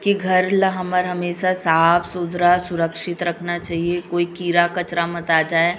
की घर ला हमर हमेसा साफ़ सुथरा सुरक्षित रखना चाहिए कोई खिड़ा खाचरा मत आ जाये--